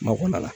Makɔnɔ la